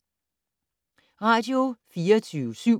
Radio24syv